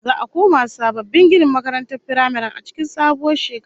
Za'a koma sababbin ginin makarantar firamaren a cikin sabuwar shekara